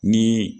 Ni